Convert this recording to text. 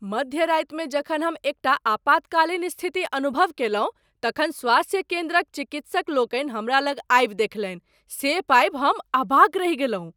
मध्य रातिमे जखन हम एकटा आपातकालीन स्थिति अनुभव कयलहुँ तखन स्वास्थ्य केन्द्रक चिकित्सक लोकनि हमरा लग आबि देखलनि, से पाबि हम अवाक रहि गेलहुँ।